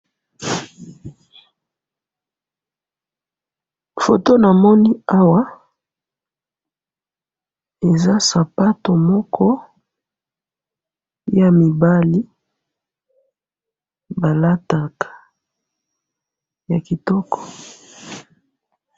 Photo na moni awa eza sapato moko ya mibali balataka ya kitoko.